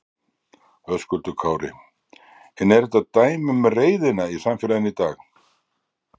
Höskuldur Kári: En er þetta dæmi um reiðina í samfélaginu í dag?